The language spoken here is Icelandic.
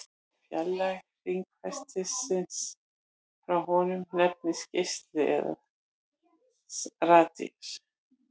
Fjarlægð hringferilsins frá honum nefnist geisli eða radíus.